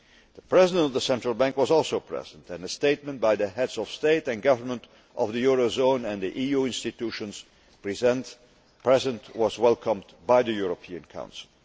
The President of the Central Bank was also present and a statement by the Heads of State or Government of the eurozone and the EU institutions present was welcomed by the European Council.